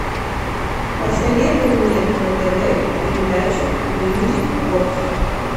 посоветуй мне на тв передачу мьюзик бокс